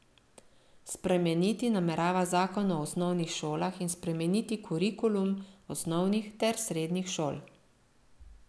Spremeniti namerava zakon o osnovnih šolah in spremeniti kurikulum osnovnih ter srednjih šol.